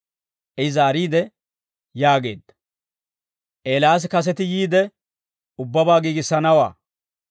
I zaariide yaageedda; «Eelaas kaseti yiide, ubbabaa giigissanawaa.